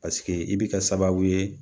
Paseke i bi kɛ sababu ye